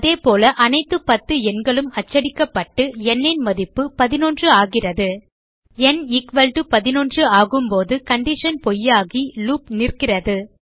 அதேபோல அனைத்து 10 எண்களும் அச்சடிக்கப்பட்டு ந் ன் மதிப்பு 11 ஆகிறது ந் 11 ஆகும்போது கண்டிஷன் பொய்யாகி லூப் நிற்கிறது